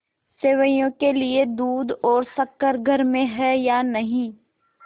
सेवैयों के लिए दूध और शक्कर घर में है या नहीं